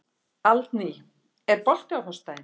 Aldný, er bolti á föstudaginn?